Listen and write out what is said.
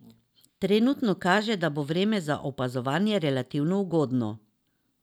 Trenutno kaže, da bo vreme za opazovanje relativno ugodno.